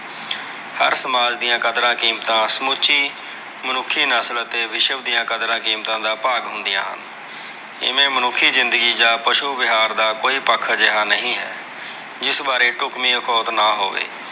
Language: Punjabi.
ਹਰ ਸਮਾਜ ਦੀਆਂ ਕਦਰਾਂ-ਕੀਮਤਾਂ ਸਮੁਚੀ ਮੁਨੱਖੀ ਨਸਲ ਅਤੇ ਵਿਸ਼ਵ ਦੀਆ ਕਦਰਾਂ-ਕੀਮਤਾਂ ਦਾ ਭਾਗ ਹੁੰਦੀਆਂ ਹਨ। ਜਿਵੇ ਮੁਨੱਖੀ ਜ਼ਿੰਦਗੀ ਜਾਂ, ਪਸ਼ੂ ਵਿਹਾਰ ਦਾ ਕੋਈ ਪੱਖ ਅਜਿਹਾ ਨਹੀਂ ਹੈ। ਜਿਸ ਬਾਰੇ ਡੁਕਵੀ ਅਖੌਤ ਨਾ ਹੋਵੇ।